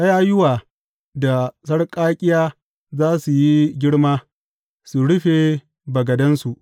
Ƙayayuwa da sarƙaƙƙiya za su yi girma su rufe bagadansu.